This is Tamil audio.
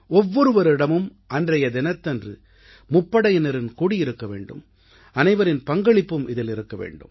ஒவ்வொருவரிடமும் அன்றைய தினத்தன்று முப்படையினரின் கொடி இருக்க வேண்டும் அனைவரின் பங்களிப்பும் இதில் இருக்க வேண்டும்